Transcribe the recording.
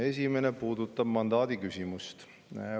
Esimene puudutab mandaati.